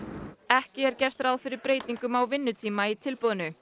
ekki er gert ráð fyrir breytingum á vinnutíma í tilboðinu